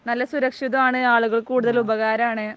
നല്ല സുരക്ഷിതമാണ് ആളുകൾക്ക് കൂടുതൽ ഉപകാരം ആണ്